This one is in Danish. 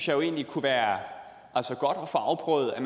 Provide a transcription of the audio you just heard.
jo egentlig kunne være godt at få afprøvet at